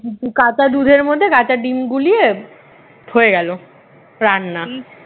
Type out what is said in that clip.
উম কাঁচা দুধের মধ্যে কাঁচা ডিম গুলিয়ে হয়ে গেল রান্না